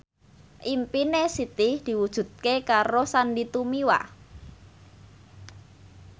impine Siti diwujudke karo Sandy Tumiwa